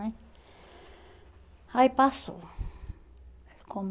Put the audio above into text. né Aí passou. Como